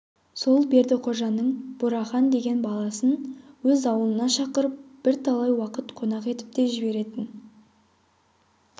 сол бердіқожаның бурахан деген баласын өз аулына шақырып бірталай уақыт қонақ етіп те жіберетін